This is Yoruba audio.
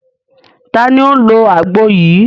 Ta ni ó ń lo àgbo yìí?